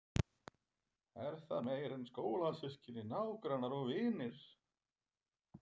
Er það meira en skólasystkini, nágrannar og vinir?